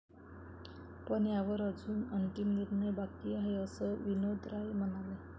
पण यावर अजून अंतिम निर्णय बाकी आहे, असं विनोद राय म्हणाले.